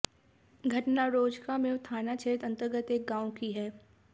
घटना रोजकामेव थाना क्षेत्र अंतर्गत एक गांव की है